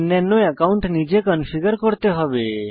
অন্যান্য অ্যাকাউন্ট নিজে কনফিগার করতে হবে